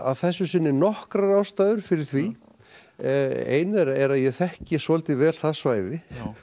þessu sinni nokkrar ástæður fyrir því ein þeirra er að ég þekki svolítið vel það svæði